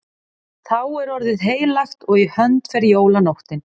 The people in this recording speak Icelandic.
Þá er orðið heilagt og í hönd fer jólanóttin.